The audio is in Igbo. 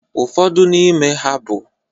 Ụfọdụ n'ime ha bụ